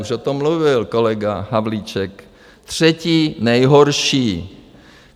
Už o tom mluvil kolega Havlíček - třetí nejhorší.